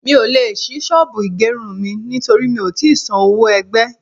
Mi ò le ṣí ṣọ́bùù ìgerun mi nítorí mi ò tí san owó ẹgbẹ́.